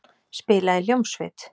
Spila í hljómsveit.